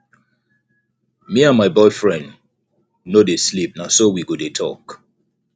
me and my boyfriend no dey sleep na so we go dey talk